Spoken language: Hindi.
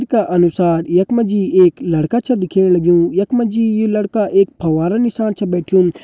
तस्वीर का अनुसार यख मा जी एक लड़का छ दिखेण लग्युं यख मा जी यू लड़का एक फंवारा नीसाण छ बैठ्युं।